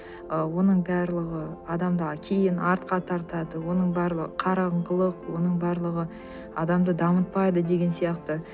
ы оның барлығы адамды кейін артқа тартады оның барлығы қараңғылық оның барлығы адамды дамытпайды деген сияқты